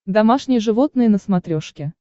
домашние животные на смотрешке